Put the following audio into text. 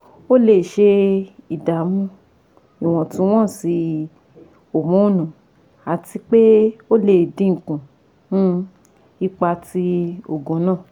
O le ṣe idamu iwontunwonsi homonu ati pe o le dinku um ipa ti oògùn naa